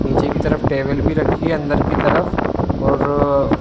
नीचे की तरफ टेबल भी रखी है अंदर की तरफ और अ --